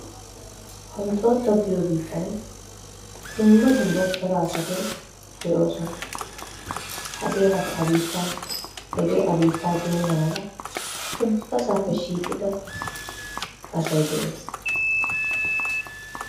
honxxooxxo giyoo biittan dumma dumma cora asati de"oosona. Hagee i bittaa hegee a biittaa geenna mala ubbaasappe shiiqqida asay de'ees.